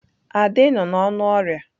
Ade nọ n'ọnụ ọrịa.